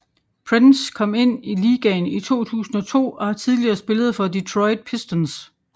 Prince kom ind i ligaen i 2002 og har tidligere spillet for Detroit Pistons